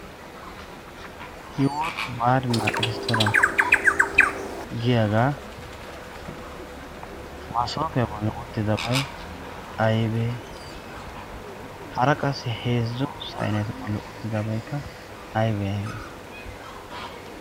"yi wooti baarina" eristtoran giyaagaa maasoofiyaa bolli uttidabai aibee? hara qassi heezzo saineetu bolli uttidabaikka aibee aibee?